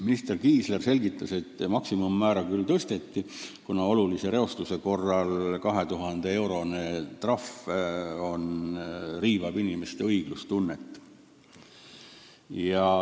Minister Kiisler selgitas, et maksimummäära tõsteti, kuna olulise reostuse korral vaid 2000-eurone trahv riivab inimeste õiglustunnet.